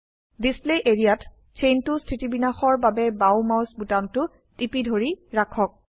display area ত চেইনটো স্থিতিবিন্যাসৰ বাবে বাও মাউস বোতামটো টিপি ধৰি ৰাখক